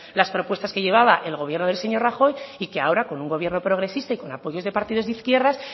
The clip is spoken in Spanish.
las propuestas que llevaba el gobierno del señor rajoy y que ahora con un gobierno progresista y con apoyos de partidos de izquierdas